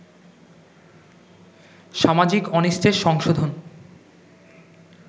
সামাজিক অনিষ্টের সংশোধন